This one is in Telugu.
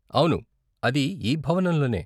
అవును అది ఈ భవనంలోనే.